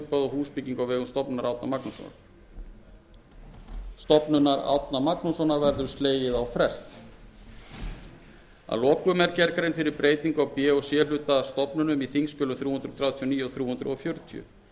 húsbyggingu á vegum stofnunar árna magnússonar verður slegið á frest að lokum er gerð grein fyrir breytingu á b og c hlut stofnunum í þingskjölum númer þrjú hundruð þrjátíu og níu og þrjú hundruð fjörutíu